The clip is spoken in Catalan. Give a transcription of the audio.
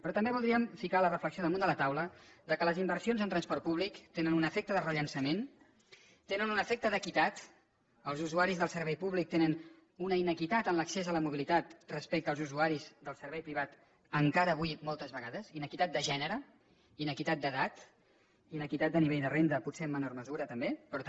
però també voldríem ficar la reflexió damunt de la taula que les inversions en transport públic tenen un efecte de rellançament tenen un efecte d’equitat els usuaris del servei públic tenen una inequitat en l’accés a la mobilitat respecte als usuaris del servei privat encara avui moltes vegades inequitat de gènere inequitat d’edat inequitat de nivell de renda potser en menor mesura també però també